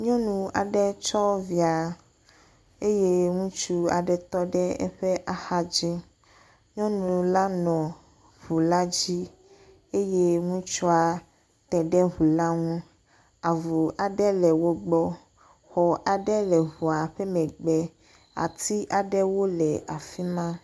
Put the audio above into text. Nyɔnu aɖe tsɔ via eye ŋutsu aɖe tɔ ɖe eƒe ahadzi. Nyɔnu la nɔ ŋu la dzi eye ŋutsua te ɖe ŋu la ŋu. Avu aɖe le wogbɔ. Xɔ aɖe le ŋua ƒe megbe. Ati aɖewo le afi ma